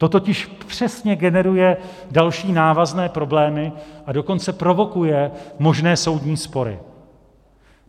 To totiž přesně generuje další návazné problémy, a dokonce provokuje možné soudní spory.